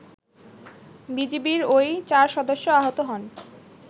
বিজিবির ওই ৪ সদস্য আহত হন